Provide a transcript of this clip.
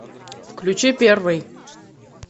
включи первый